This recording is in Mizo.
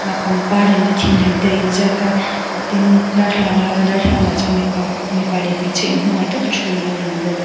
pangpar lem te thing lem te a in ziaka tin darthlalang a lo langa darthlalang ah chuan mipa mipa leh hmeichhe in hmangaih taka thu anlo lang bawk.